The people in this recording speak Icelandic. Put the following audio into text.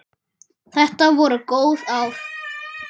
Þetta voru góð ár.